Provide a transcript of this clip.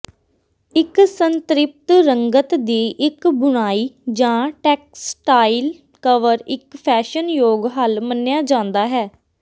ਇੱਕ ਸੰਤ੍ਰਿਪਤ ਰੰਗਤ ਦੀ ਇੱਕ ਬੁਣਾਈ ਜਾਂ ਟੈਕਸਟਾਈਲ ਕਵਰ ਇੱਕ ਫੈਸ਼ਨਯੋਗ ਹੱਲ ਮੰਨਿਆ ਜਾਂਦਾ ਹੈ